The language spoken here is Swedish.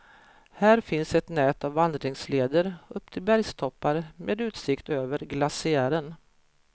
Här finns ett nät av vandringsleder upp till bergstoppar med utsikt över glaciären.